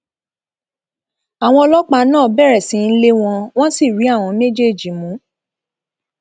àwọn ọlọpàá náà bẹrẹ sí í lé wọn wọn sì rí àwọn méjèèjì mú